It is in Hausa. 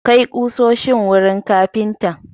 Kai ƙusoshin wurin kafintan!